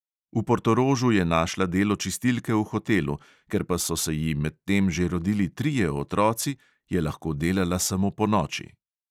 V portorožu je našla delo čistilke v hotelu, ker pa so se ji medtem že rodili trije otroci, je lahko delala samo ponoči.